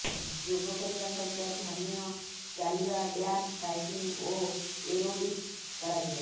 ଯୋଗ କରିବା ସହିତ ଧ୍ୟାନ ଚାଲିବା ଡ୍ୟାନ୍ସ ସାଇକ୍ଲିଙ୍ଗ ଓ ଏରୋବିକ୍ସ କରାଯିବ